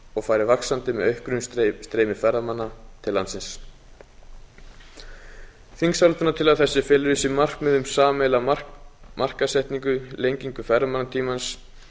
og fari vaxandi með auknu streymi ferðamanna til landsins þingsályktunartillaga þessi felur í sér markmið um sameiginlega markaðssetningu lengingu ferðamannatímans